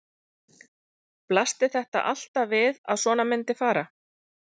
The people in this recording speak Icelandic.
Blasti þetta alltaf við að svona myndi fara?